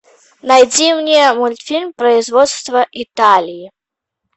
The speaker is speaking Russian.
найди мне мультфильм производства италии